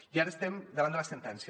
i ara estem davant de la sentència